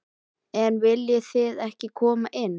En viljið þið ekki koma inn?